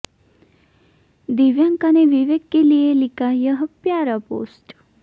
दिव्यांका ने विवेक के लिए लिखा यह प्यारा पोस्ट